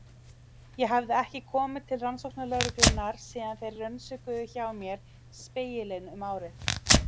Ég hafði ekki komið til rannsóknarlögreglunnar síðan þeir rannsökuðu hjá mér Spegilinn um árið.